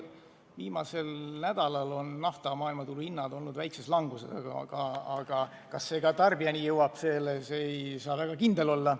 Viimasel nädalal on nafta maailmaturu hinnad olnud väikses languses, aga kas selle mõju ka tarbijani jõuab, selles ei saa väga kindel olla.